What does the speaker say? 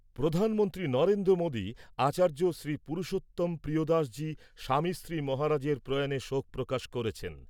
প্রধানমন্ত্রী নরেন্দ্র মোদি আচার্য শ্রী পুরুষোত্তম প্রিয়দাসজি স্বামীশ্রী মহারাজের প্রয়াণে শোক প্রকাশ করেছেন ।